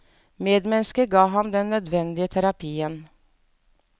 Medmenneskene ga ham den nødvendige terapien.